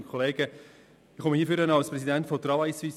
Ich spreche hier als Präsident von Travail Suisse.